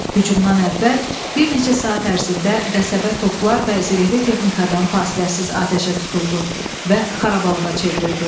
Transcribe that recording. Hücumdan əvvəl bir neçə saat ərzində qəsəbə toplar və zirehli texnikadan fasiləsiz atəşə tutuldu və xarabalıqğa çevrildi.